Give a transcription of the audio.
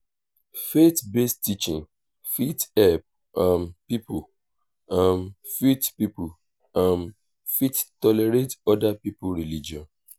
faith based teaching fit help um pipo um fit pipo um fit tolerate oda pipo religion